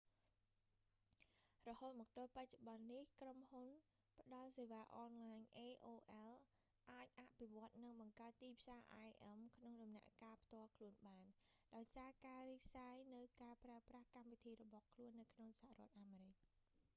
រហូតមកទល់បច្ចុប្បន្ននេះក្រុមហ៊ុនផ្តល់សេវាអនឡាញ aol អាចអភិវឌ្ឍ និងបង្កើតទីផ្សារ im ក្នុងដំណាក់កាលផ្ទាល់ខ្លួនបាន ដោយសារការរីកសាយនូវការប្រើប្រាស់កម្មវិធីរបស់ខ្លួននៅក្នុងសហរដ្ឋអាមេរិក